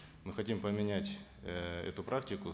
мы хотим поменять э эту практику